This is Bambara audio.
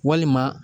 Walima